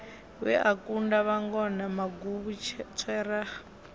we a kunda vhangona maguvhutswera